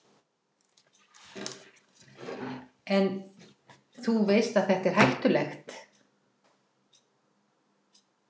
Helga: En, þú veist að þetta er hættulegt?